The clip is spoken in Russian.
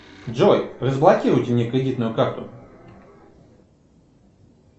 джой разблокируйте мне кредитную карту